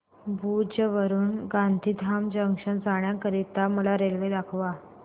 भुज वरून गांधीधाम जंक्शन जाण्या करीता मला रेल्वे दाखवा